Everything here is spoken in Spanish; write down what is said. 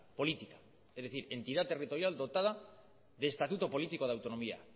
política es decir entidad territorial dotada de estatuto político de autonomía